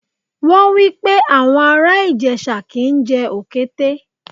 Wọ́n wípé àwọn ará Ìjẹ̀ṣà kì ń jẹ Òkété.